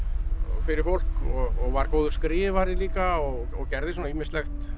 fyrir fólk og var góður skrifari líka og gerði svona ýmislegt